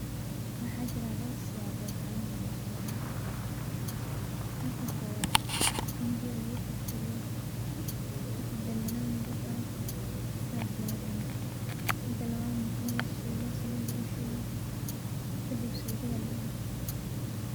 Waxaa jira dhowr siyaabood oo aan u cuno shaygan. Marka koowad in biya lagu karkariyo kadib dandanaan lagu daro sas lagu cuno mida lawaad ne in lashiilo saliid lagu shubo kadib suugada lagu cuno.